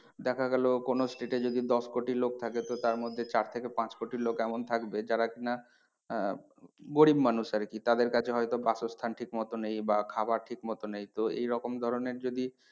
দেখা গেলো কোনো state এ যদি দশ কোটি লোক থাকে তো তার মধ্যে চার থেকে পাঁচ কোটি লোক এমন থাকবে যারা কি না আহ গরিব মানুষ আর কি তাদের কাছে হয় তো বাসস্থান ঠিক মতো নেই বা খাবার ঠিক মতো নেই তো এই রকম ধরণের যদি